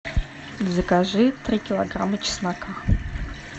закажи три килограмма чеснока